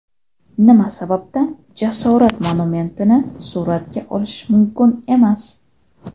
Nima sababdan jasorat monumentini suratga olish mumkin emas?.